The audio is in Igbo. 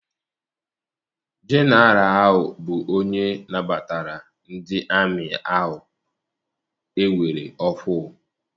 Jeneral ahụ bụ ya nabatara ndị amị ahụ ewere ọhụụ.